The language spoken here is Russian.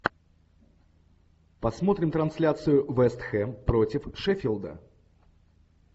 посмотрим трансляцию вест хэм против шеффилда